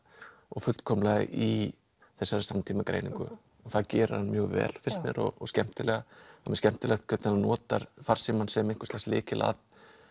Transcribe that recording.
og fullkomlega í þessari samtímagreiningu og það gerir hann mjög vel finnst mér og skemmtilega það mjög skemmtilegt hvernig hann notar farsímann sem einhvers lags lykil að